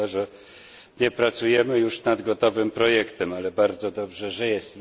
Szkoda, że nie pracujemy już nad gotowym projektem, ale bardzo dobrze, że jest.